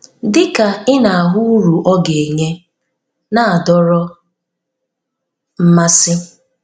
Dị ka ị na-ahụ uru ọ ga-enye na-adọrọ mmasị.